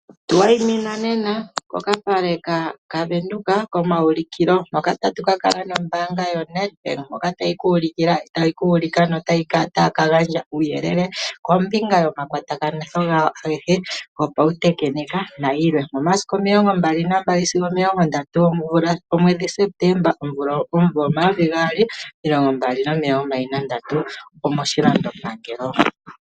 Tu wayimina nena kokapale kaVenduka komaaulikilo, mpoka tatu ka kala nombaanga yoNEDBANK, ndjoka tayi ku ulika notayi ka gandja uuyelele kombinga yomakwatakanitho gawo agehe gopautekenika nayilwe omomasiku omilongo mbali nambali sigo omilongo ndatu gomwedhi Septemba omvula, omumvo omayovi gaali, omilongo mbali nandatu, omoshilando pangelo.